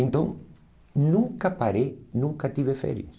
Então, nunca parei, nunca tive férias.